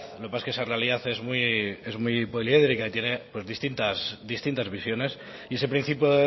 lo que pasa es esa realidad es muy poliédrica y tiene distintas visiones y ese principio